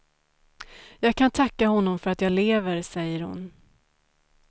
Jag kan tacka honom för att jag lever, säger hon.